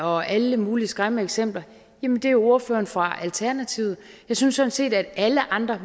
og alle mulige skræmmende eksempler er jo ordføreren fra alternativet jeg synes sådan set at alle andre